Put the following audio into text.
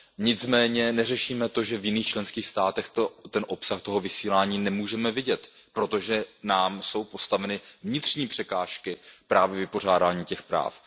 Nicméně neřešíme to, že v jiných členských státech ten obsah toho vysílání nemůžeme vidět, protože nám jsou postaveny vnitřní překážky, právě vypořádání těch práv.